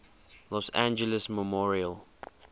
los angeles memorial